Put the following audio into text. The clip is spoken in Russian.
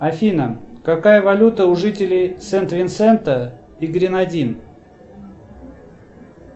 афина какая валюта у жителей сент винсента и гренадин